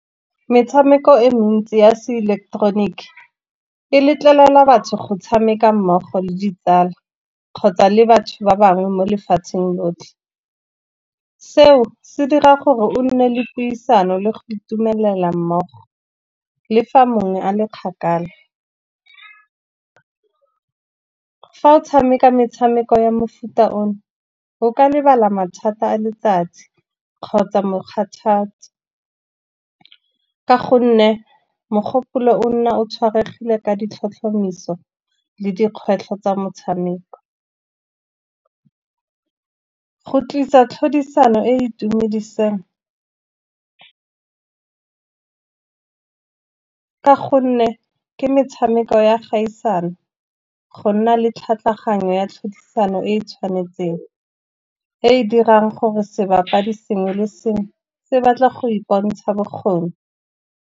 Metshameko e mentsi ya se ileketeroniki e letlelela batho go tshameka mmogo le ditsala kgotsa le batho ba bangwe mo lefatsheng lotlhe. Seo se dira gore o nne le puisano le go itumelela mmogo le fa mongwe a le kgakala. Fa o tshameka metshameko ya mofuta o no, o ka lebala mathata a letsatsi kgotsa mokgathatsi ka gonne mogopolo o nna o tshwaegile ka ditlhotlhomiso le dikgwetlho tsa motshameko. Go tlisa tlhodisano e itumediseng ka gonne ke metshameko ya kgaisano, go nna le tlhaloganyo ya tlhodisano e e tshwanetseng, e e dirang gore sebapadi sengwe le sengwe se batla go i pontsha bokgoni.